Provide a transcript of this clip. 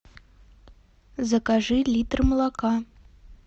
закажи литр молока